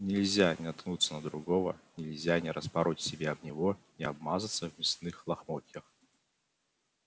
нельзя не наткнуться на другого нельзя не распороть себя об него не обмазаться в мясных лохмотьях